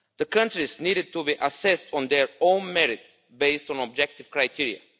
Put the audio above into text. Countries need to be assessed on their own merit based on objective criteria.